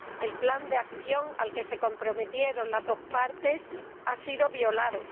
El plan de acción al que se comprometieron las dos partes no ha sido respetado